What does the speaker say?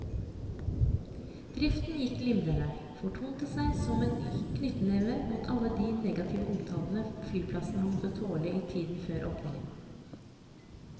Driften gikk glimrende, og fortonte seg som en knyttneve mot all den negative omtalen flyplassen har måttet tåle i tiden før åpningen.